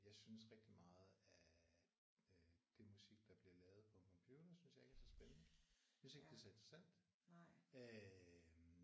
Jeg synes rigtig meget af øh det musik der bliver lavet på en computer synes jeg ikke er så spændende. Jeg synes ikke det er så interessant